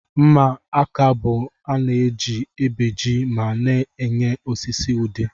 Mma aka bu ana eji ebeji ma na enye osisi udi.